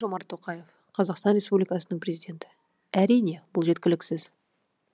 қасым жомарт тоқаев қазақстан республикасының президенті әрине бұл жеткіліксіз